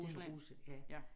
Den ja